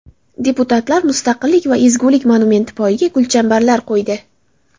Deputatlar Mustaqillik va ezgulik monumenti poyiga gulchambarlar qo‘ydi .